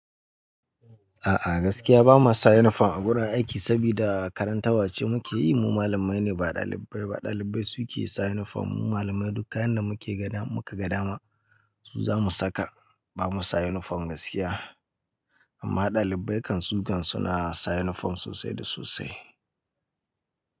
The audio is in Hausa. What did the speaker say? A'a gaskiya bama sa uniform a wurin aiki sabida karantarwa ce muke yi Mu malamai ne ba ɗalibbai ba. Ɗalibbai suke sa uniform. Mu malamai duk kayan da muke ga dama, mukaga dama su zamu saka. Bamu sa uniform gaskiya, amma ɗalibbai kan su kan su na sa uniform sosai da sosai.